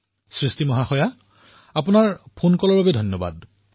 সৃষ্টি জী আপোনাৰ ফোন কলৰ বাবে ধন্যবাদ